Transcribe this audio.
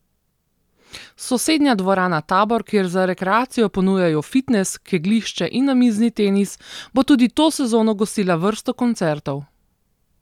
Sosednja Dvorana Tabor, kjer za rekreacijo ponujajo fitnes, kegljišče in namizni tenis, bo tudi to sezono gostila vrsto koncertov.